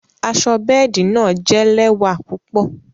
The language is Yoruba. Àṣọ bẹẹdi náa jẹ̀ lẹwa púpọ̀.